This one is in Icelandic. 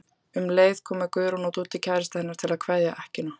Um leið komu Guðrún og Dúddi kærastinn hennar til að kveðja ekkjuna.